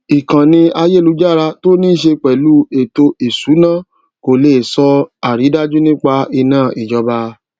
ìkannì ayélujára tó níṣe pèlú ẹtò ìsúná kò lè sọ àrídájú nípa iná ìjọba